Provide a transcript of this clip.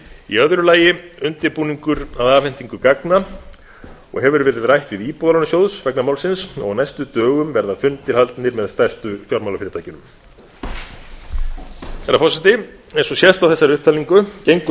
í öðru lagi undirbúningur að afhendingu gagna og hefur verið rætt við íbúðalánasjóð vegna málsins og næstu daga verða fundir haldnir með stærstu fjármálafyrirtækjunum herra forseti eins og sést á þessari upptalningu gengur